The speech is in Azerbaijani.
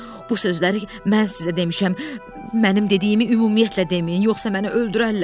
Bu sözləri mən sizə demişəm, mənim dediyimi ümumiyyətlə deməyin, yoxsa məni öldürərlər.